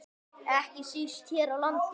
Ekki síst hér á landi.